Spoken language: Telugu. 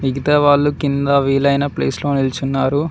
మిగతా వాళ్ళు కింద వీలైన ప్లేస్ లో నిల్చున్నారు.